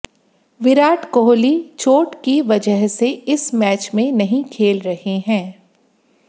विराट कोहली चोट की वजह से इस मैच में नहीं खेल रहे हैं